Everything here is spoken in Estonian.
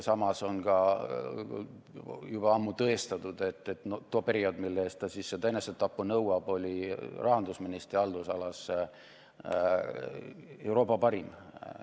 Samas on juba ammu tõestatud, et tol perioodil, mille eest ta seda enesetappu nõuab, oli rahandusministri haldusala Euroopa parim.